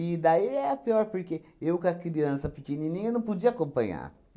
daí é a pior, porque eu com a criança pequenininha não podia acompanhar.